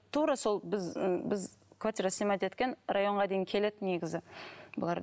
тура сол біз ы біз квартира снимать еткен районға дейін келеді негізі бұлар